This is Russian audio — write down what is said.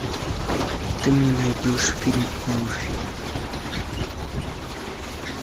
ты мне найдешь фильм морфий